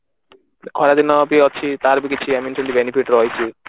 ଖରା ଦିନ ବି ଅଛି ତାର ବି କିଛି Benefit ରହିଛି